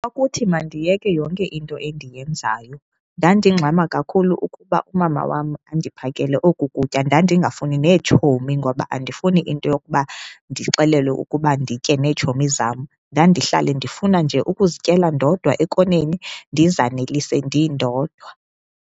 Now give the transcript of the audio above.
Ukuthi mandiyeke yonke into endiyenzayo, ndandingxama kakhulu ukuba umama wam andiphakele oku kutya. Ndandingafuni neetshomi ngoba andifuni into yokuba ndixelelwe ukuba nditye neetshomi zam, ndandihlala ndifuna nje ukuzityela ndodwa ekoneni ndizanelise ndindodwa.